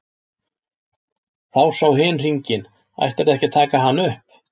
Þá sá hin hringinn:-Ætlarðu ekki að taka hann upp?